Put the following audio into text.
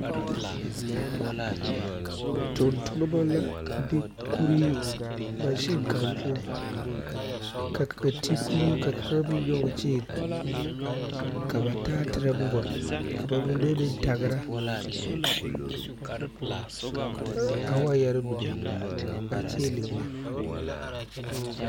Tontonmo la be kurii maŋsen kaŋa poɔ, ka kaŋa ti kuri ka kaŋa meŋ nyɔŋ ka ba taatirɛ boma ka ba mine me tagra a waayɛri mine kyiile.